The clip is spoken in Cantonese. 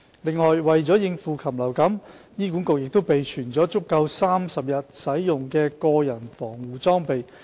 此外，為應對禽流感，醫院亦備存足夠30天使用的個人防護裝備。